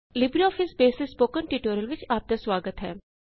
LibreOffice base ਦੇ spoken tutorial ਵਿਚ ਆਪ ਦਾ ਸੁਆਗਤ ਹੈ